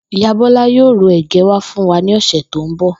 Ìyá Bó̩lá yóò ru è̩gé̩ wá fún wa ní ò̩sè̩ tó ń bò